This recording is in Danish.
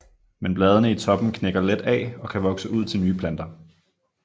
Men bladene i toppen knækker let af og kan vokse ud til nye planter